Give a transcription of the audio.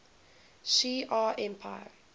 shi ar empire